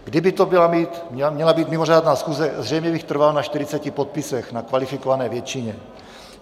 Kdyby to měla být mimořádná schůze, zřejmě bych trval na 40 podpisech, na kvalifikované většině.